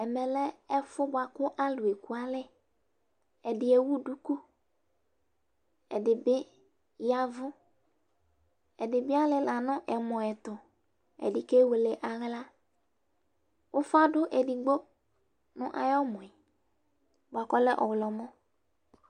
Ɛmɛ lɛ ɛfʋ bʋa ƙʋ alʋ eƙualɛƐɖɩ ewu ɖuƙu, ɛɖɩ bɩ ƴavʋ, ɛɖɩ bɩ alɩla nʋ ɛmɔ ɖɩ ɛtʋƐɖɩ ƙewele aɣla, ʋfa ɖʋ eɖigbo nʋ ɛmɔ bʋa ƙʋ ɔlɛ ɔɣlɔmɔ